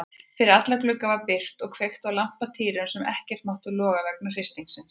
Fyrir alla glugga var byrgt og kveikt á lampatýrum sem ekkert máttu loga vegna hristingsins.